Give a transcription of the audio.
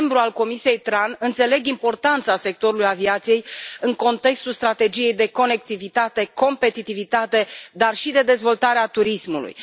Ca membru al Comisiei TRAN, înțeleg importanța sectorului aviației în contextul strategiei de conectivitate, competitivitate, dar și de dezvoltare a turismului.